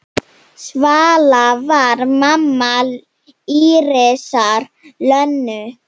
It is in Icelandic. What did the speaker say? Svala var mamma Írisar Lönu.